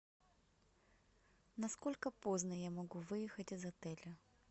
насколько поздно я могу выехать из отеля